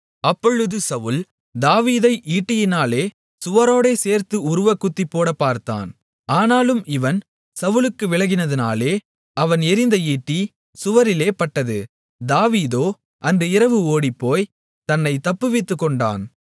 அப்பொழுது சவுல் தாவீதை ஈட்டியினாலே சுவரோடே சேர்த்து உருவக்குத்திப்போடப் பார்த்தான் ஆனாலும் இவன் சவுலுக்கு விலகினதினாலே அவன் எறிந்த ஈட்டி சுவரிலே பட்டது தாவீதோ அன்று இரவு ஓடிப்போய் தன்னைத் தப்புவித்துக்கொண்டான்